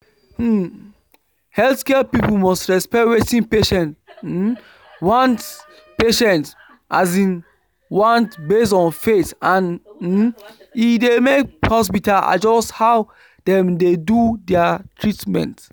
um healthcare people must respect wetin patients um want patients um want based on faith and um e dey make hospitals adjust how dem dey do their treatment